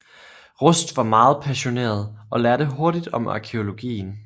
Rust var meget passioneret og lærte hurtigt om arkæologien